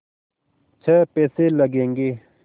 छः पैसे लगेंगे